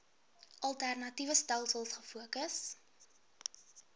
alternatiewe stelsels gefokus